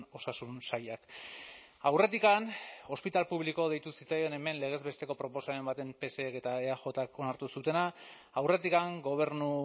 osasun sailak aurretik hospital público deitu zitzaion hemen legez besteko proposamen baten psek eta eajk onartu zutena aurretik gobernu